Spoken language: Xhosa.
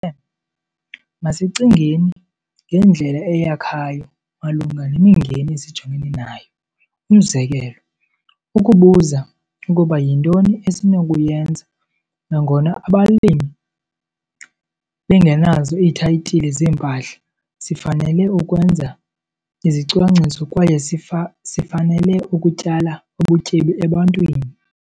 'Masicingeni ngendlela eyakhayo malunga nemingeni esijongene nayo umzekelo- Ukubuza ukuba yintoni esinokuyenza, nangona abalimi bengenazo iithayitile zeempahla - sifanele ukwenza izicwangciso kwaye sifanele ukutyala ubutyebi EBANTWINI'.